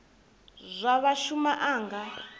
zwa sa shuma a nga